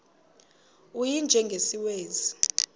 u y njengesiwezi